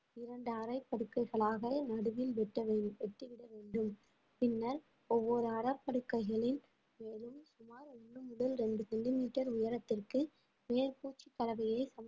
இரண்டு அரை படுக்கைகளாக நடுவில் வெட்ட வேண்~ வெட்டிவிட வேண்டும் பின்னர் ஒவ்வொரு அரைப்படுக்கைகளில் ஓன்று முதல் இரண்டு சென்டிமீட்டர் உயரத்திற்கு மேற்பூச்சுக் கலவையை